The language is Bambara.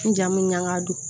N jamu ɲaga don